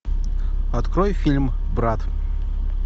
открой фильм брат